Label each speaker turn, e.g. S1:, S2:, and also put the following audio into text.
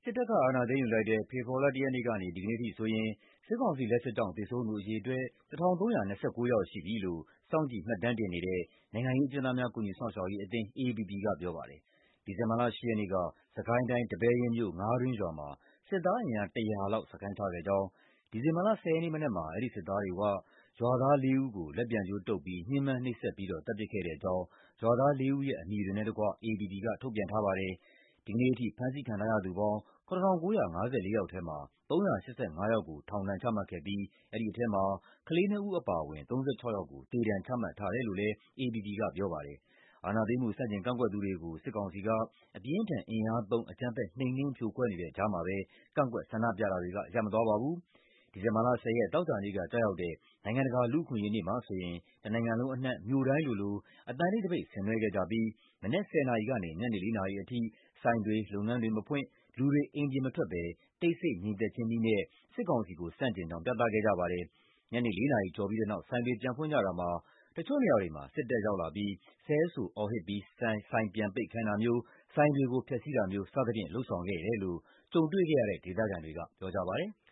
S1: စ်တပ်က အာဏာသိမ်းယူလိုက်တဲ့ ဖေဖော်ဝါရီလ ၁ ရက်နေ့ကနေ ဒီကနေ့အထိဆိုရင် စစ်ကောင်စီရဲ့ လက်ချက်ကြောင့် သေဆုံးသူ အရေအတွက် ၁,၃၂၉ ယောက်ရှိပြီလို့ စောင့်ကြည့်မှတ်တမ်းတင်နေတဲ့ နိုင်ငံရေးအကျဉ်းသားများ ကူညီစောင့်ရှောက်ရေးအသင်း (AAPP) က ပြောပါတယ်။ ဒီဇင်ဘာလ ၈ ရက်နေ့က စစ်ကိုင်းတိုင်း၊ ဒီပဲယင်းမြို့၊ ငါးတွင်းရွာမှာ စစ်သားအင်အား ၁၀၀ လောက် စခန်းချခဲ့ကြောင်း၊ ဒီဇင်ဘာလ ၁၀ ရက်နေ့မနက်မှာ အဲဒီစစ်သားတွေက ရွာသား ၄ ဦးကို လက်ပြန်ကြိုးတုပ်ပြီး ညှဉ်းပန်းနှိပ်စက်ပြီးတော့ သတ်ပစ်ခဲ့တဲ့အကြောင်း ရွာသား ၄ ဦးရဲ့ အမည်တွေနဲ့တကွ AAPP က ထုတ်ပြန်ထားပါတယ်။ ဒီနေ့ထိ ဖမ်းဆီးခံထားရသူပေါင်း ၇,၉၅၄ ယောက်ထဲမှာ ၃၈၅ ယောက်ကို ထောင်ဒဏ်ချမှတ်ခဲ့ပြီး အဲဒီထဲမှာ ကလေး ၂ ဦး အပါအဝင် ၃၆ ယောက်ကို သေဒဏ်ချမှတ်ထားတယ်လို့လည်း AAPP က ပြောပါတယ်။ အာဏာသိမ်းမှု ဆန့်ကျင်ကန့်ကွက်သူတွေကို စစ်ကောင်စီက အပြင်းအထန် အင်အားသုံး အကြမ်းဖက်နှိမ်နင်း ဖြိုခွဲနေတဲ့ကြားမှာပဲ ကန့်ကွက်ဆန္ဒပြတာတွေ ရပ်မသွားပါဘူး။ ဒီဇင်ဘာလ ၁၀ ရက်၊ သောကြာနေ့က ကျရောက်တဲ့ နိုင်ငံတကာ လူ့အခွင့်အရေးနေ့မှာဆိုရင် တနိုင်ငံလုံးအနှံ့ မြို့တိုင်းလိုလို အသံတိတ်သပိတ် ဆင်နွှဲခဲ့ကြပြီး မနက် ၁၀ နာရီကနေ ညနေ ၄ နာရီအထိ ဆိုင်တွေ၊ လုပ်ငန်းတွေမဖွင့်၊ လူတွေ အိမ်ပြင်မထွက်ဘဲ တိတ်ဆိတ်ငြိမ်သက်ခြင်းနည်းနဲ့ စစ်ကောင်စီကို ဆန့်ကျင်ကြောင်း ပြသခဲ့ကြပါတယ်။ ညနေ ၄ နာရီကျော်ပြီးတဲ့နောက် ဆိုင်တွေပြန်ဖွင့်ကြတာမှာ တချို့နေရာတွေမှာ စစ်တပ်ရောက်လာပြီး ဆဲဆိုအော်ဟစ်ပြီး ဆိုင်ပြန်ပိတ်ခိုင်းတာမျိုး၊ ဆိုင်တွေကို ဖျက်ဆီးတာမျိုး စသည်ဖြင့် လုပ်ဆောင်ခဲ့တယ်လို့ ကြုံတွေ့ခဲ့ရတဲ့ ဒေသခံတွေက ပြောကြပါတယ်။